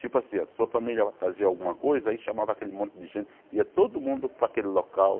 Tipo assim, a sua família vai fazer alguma coisa, aí chamava aquele monte de gente, ia todo mundo para aquele local.